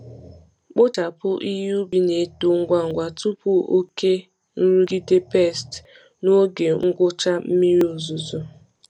Kpochapụ ihe ubi na-eto ngwa ngwa tupu oke nrụgide pests n’oge ngwụcha mmiri ozuzo.